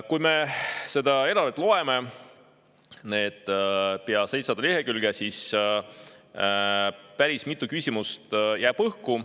Kui me seda eelarvet loeme, neid pea 700 lehekülge, siis jääb päris mitu küsimust õhku.